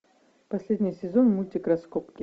последний сезон мультик раскопки